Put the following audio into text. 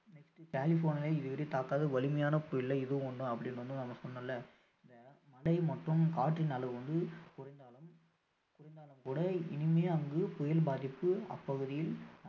கலிபோர்னியால இதுவரை தாக்காத வலிமையான புயல்ல இதுவும் ஒன்னு அப்படின்னு வந்து நம்ம சொல்னோம்ல இந்த மழை மட்டும் காற்றின் அளவு வந்து குறைந்தாலும் கூட இனிமே அங்கு புயல் அப்பாதிப்பு